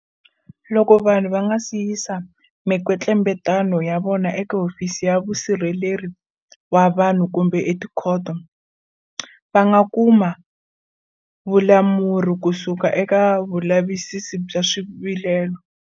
Loko vanhu va nga si yisa mikwetlembetano ya vona eka Hofisi ya Musirheleri wa Vanhu kumbe etikhoto, va nga kuma vulamuri kusuka eka Mulavisisi wa Swivilelo.